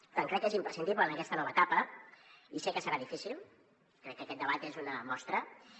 per tant crec que és imprescindible en aquesta nova etapa i sé que serà difícil crec que aquest debat és una mostra